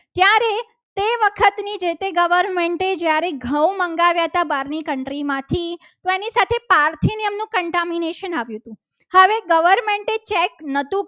ત્યારે ઘઉં મંગાવ્યા હતા. બહારની country માંથી તો એની સાથે પારથી નિયમનું contamination આવ્યું. હવે government એ ચેક નતુ.